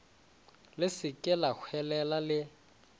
le se ke lahwelela le